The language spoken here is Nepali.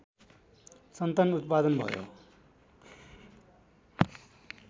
सन्तान उत्पादन भयो